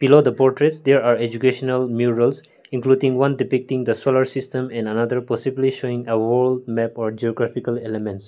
below the portraits there are educational including one depicting the solar system and another possibly showing a world map or geographical elements.